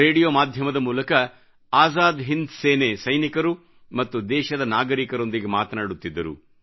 radio ಮಾಧ್ಯಮದ ಮೂಲಕ ಆಜಾದ್ ಹಿಂದ್ ಸೇನೆ ಸೈನಿಕರು ಮತ್ತು ದೇಶದ ನಾಗರಿಕರೊಂದಿಗೆ ಮಾತನಾಡುತ್ತಿದ್ದರು